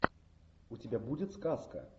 у тебя будет сказка